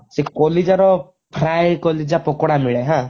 ସେ କଲିଜାର fry କଲିଜା ପକୋଡା ମିଳେ ହାଁ